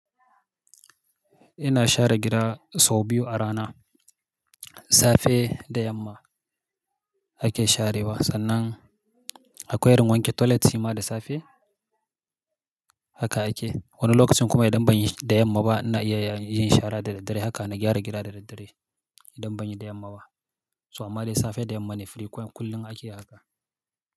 Ina share gida sau biyu a rana. Safe da yamma ake sharewa sannan akwai irin wanke toilet, shima da safe haka ake. Wani lokacin kuma idan ban yi da yamma ba, na iya yin shara dare dare haka na gyara gida dare dare idan ban yi da yamma ba. Toh a ma da safe da yamma ne frequent kullum ake haka.